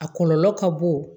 A kɔlɔlɔ ka bon